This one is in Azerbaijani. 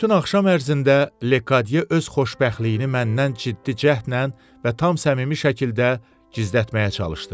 Bütün axşam ərzində Lekadiye öz xoşbəxtliyini məndən ciddi cəhdlə və tam səmimi şəkildə gizlətməyə çalışdı.